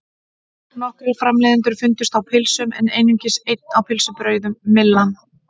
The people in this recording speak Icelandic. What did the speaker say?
Nokkrir framleiðendur fundust á pylsum en einungis einn á pylsubrauðum, Myllan.